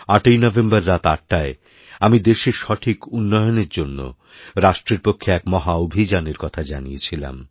৮ই November রাত ৮টায় আমিদেশের সঠিক উন্নয়নের জন্য রাষ্ট্রের পক্ষে এক মহা অভিযানের কথা জানিয়েছিলাম